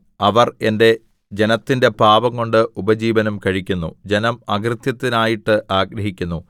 അവർ എന്റെ ജനത്തിന്റെ പാപംകൊണ്ട് ഉപജീവനം കഴിക്കുന്നു ജനം അകൃത്യത്തിനായിട്ട് ആഗ്രഹിക്കുന്നു